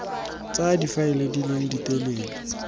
tsa difaele di leng ditelele